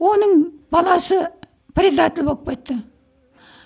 оның баласы предатель болып кетті